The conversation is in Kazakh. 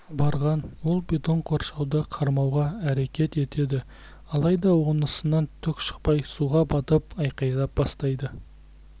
барған ол бетон қоршауды қармауға әрекет етеді алайда онысынан түк шықпай суға батып айқайлай бастайды